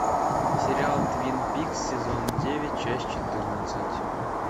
сериал твин пикс сезон девять часть четырнадцать